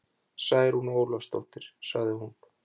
Særún Ólafsdóttir, sagði hún.